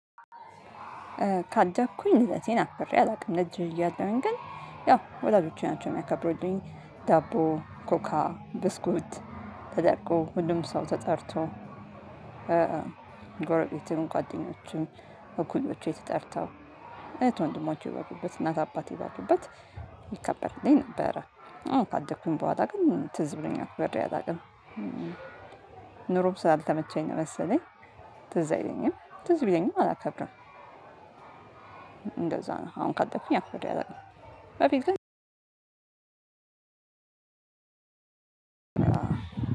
ካደኩኝ ልደቴን አክብሬ አላውቅም ልጅ እያለሁኝ ግን ያው ወላጆቼ ናቸው የሚያከብሩልኝ ዳቦ ኮካ ብስኩት ተደርጎ ሁሉም ሰው ተጠርቶ ጎረቤትም ጓደኞችም እኩዮቼም ተጠርተው እህት ወንድሞቼ ባሉበት እናት አባቴ ባሉበት ይከበርልኝ ነበረ። አሁን ካደኩኝ በኋላ ግን ትዝ ብሎኝ አክብሬ አላውቅም። ኑሮም ስላልተመቸኝ ነው መሰለኝ። ትዝ አይለኝም ትዝ ቢለኝም አላከብርም። እንደዛ ነው አሁን ካደኩኝ አክብሬ አላውቅም። በፊት ግን እ